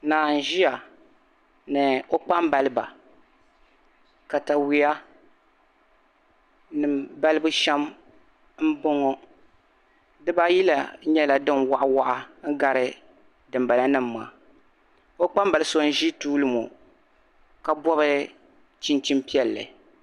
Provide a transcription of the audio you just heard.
Naa n-ʒiya ni o kpambaliba katawuyanima balibu shɛm m-bɔŋɔ dibaayila nyɛla din'waɣiwaɣa n-gari dimbalanima maa o kpambal'so n-ʒi tuuli ŋɔ ka bɔbi chinchin'piɛlli